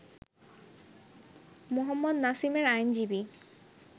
মোহাম্মদ নাসিমের আইনজীবী